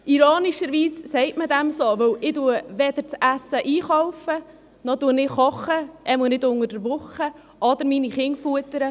Ironischerweise sagt man dem so, denn weder kaufe ich das Essen ein, noch koche ich, zumindest nicht unter der Woche, und ich füttere auch nicht die Kinder.